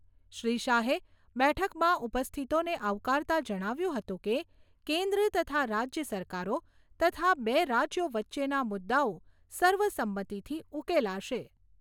શ્રી શાહે બેઠકમાં ઉપસ્થિતોને આવકારતા જણાવ્યું હતું કે, કેન્દ્ર તથા રાજ્ય સરકારો તથા બે રાજ્યો વચ્ચેના મુદ્દાઓ સર્વસંમતીથી ઉકેલાશે.